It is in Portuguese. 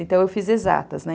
Então, eu fiz exatas, né?